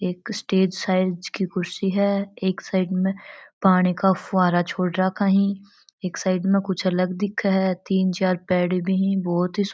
एक stage size की कुर्सी है एक साइड में पानी का फुब्बारा छोड़ रखा है एक साइड में कुछ अलग दिखे है तीन चार पेड़ी भी है बहुत ही सुन --